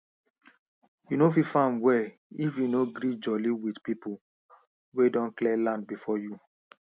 you no fit farm well if you no gree jolly with people wey don clear land before you